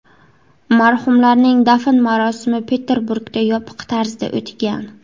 Marhumlarning dafn marosimi Peterburgda yopiq tarzda o‘tgan.